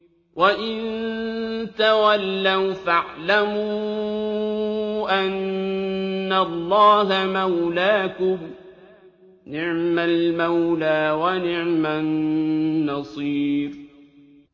وَإِن تَوَلَّوْا فَاعْلَمُوا أَنَّ اللَّهَ مَوْلَاكُمْ ۚ نِعْمَ الْمَوْلَىٰ وَنِعْمَ النَّصِيرُ